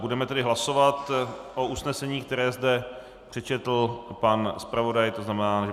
Budeme tedy hlasovat o usnesení, které zde přečetl pan zpravodaj, to znamená, že